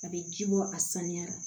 A bɛ ji bɔ a sanuya la